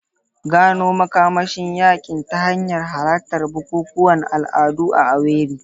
Gano makamashin yankin ta hanyar halartar bukukuwan al'adu a Owerri.